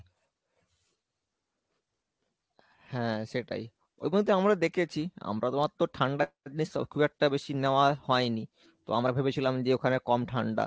হ্যাঁ সেটাই, ওগুলোতে আমরা দেখেছি আমরা তো অতো ঠান্ডা জিনিস তো খুব একটা বেশি নেওয়া হয়নি, তো আমরা ভেবেছিলাম যে ওখানে কম ঠান্ডা।